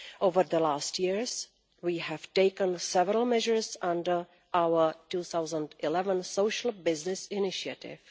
Over the last years we have taken several measures and our 2011 Social Business Initiative.